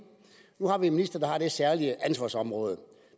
minister der har det særlige ansvarsområde